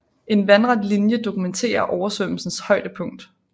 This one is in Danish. En vandret linje dokumenterer oversvømmelsens højdepunkt